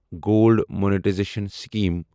gold monetisation scheme